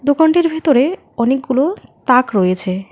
দোকানটির ভিতরে অনেকগুলো তাক রয়েছে।